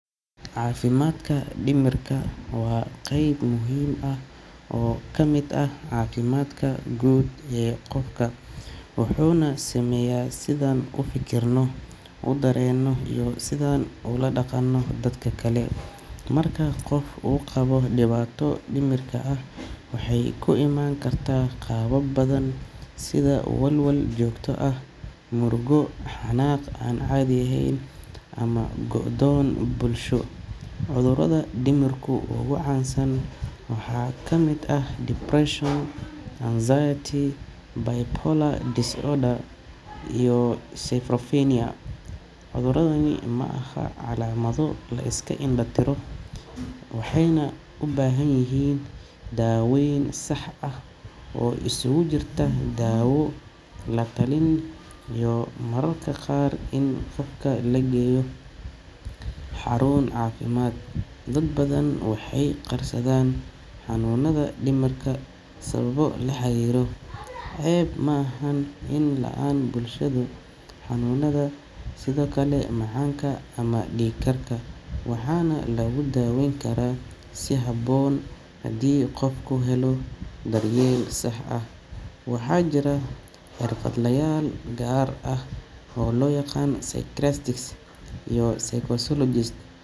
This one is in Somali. Caafimaadka dhimirka waa qayb muhiim ah oo ka mid ah caafimaadka guud ee qofka, wuxuuna saameeyaa sida aan u fikirno, u dareenno, iyo sida aan ula dhaqanno dadka kale. Marka qof uu qabo dhibaato dhimirka ah, waxay ku imaan kartaa qaabab badan sida walwal joogto ah, murugo, xanaaq aan caadi ahayn, ama go’doon bulsho. Cudurrada dhimirka ugu caansan waxaa ka mid ah depression, anxiety, bipolar disorder, iyo schizophrenia. Cudurradani ma aha calaamado la iska indho-tiro karo, waxayna u baahan yihiin daaweyn sax ah oo isugu jirta daawo, la-talin iyo mararka qaar in qofka la geeyo xarun caafimaad. Dad badan waxay qarsadaan xanuunada dhimirka sababo la xiriira ceeb ama faham la’aan bulsho. Laakiin waa muhiim in la fahmo in xanuunada dhimirka ay la mid yihiin cudurrada kale sida macaanka ama dhiig karka, waxaana lagu daawayn karaa si habboon haddii qofku helo daryeel sax ah. Waxaa jira xirfadlayaal gaar ah oo loo yaqaan psychiatrists iyo psychologists.